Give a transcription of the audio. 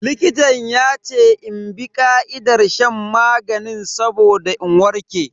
Likitan yace in bi ka'idar shan maganin saboda in warke.